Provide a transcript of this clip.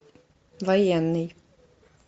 военный